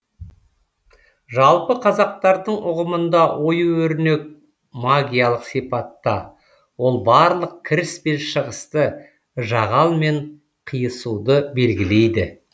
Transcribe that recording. жалпы қазақтардың ұғымында ою өрнек магиялық сипатта ол барлық кіріс пен шығысты жағал мен қиысуды белгілейді